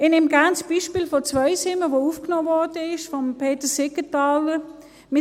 Ich nehme gerne das Beispiel von Zweisimmen, das von Peter Siegenthaler aufgenommen wurde: